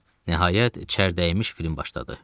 Nəhayət, çər dəymiş film başladı.